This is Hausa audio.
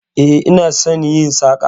E, ina son yin saka